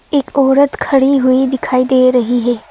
एक औरत खड़ी हुई दिखाई दे रही है।